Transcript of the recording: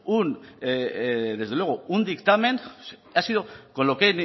un dictamen ha sido con lo que he